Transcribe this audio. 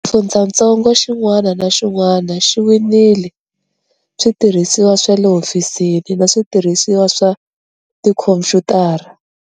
Xifundzatsongo xin'wana na xin'wana xi winile switirhisiwa swa le hofisini na switirhisiwa swa tikhomphyutara.